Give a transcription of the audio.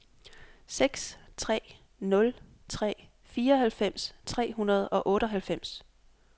seks tre nul tre fireoghalvfems tre hundrede og otteoghalvfems